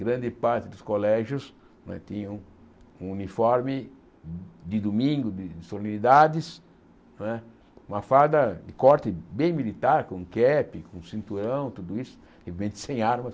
Grande parte dos colégios não é tinham um uniforme de domingo, de solenidades não é, uma farda de corte bem militar, com cap, com cinturão, tudo isso, evidente sem armas.